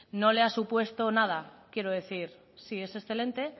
no le ha supuesto nada quiero decir sí es excelente